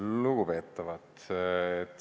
Lugupeetavad!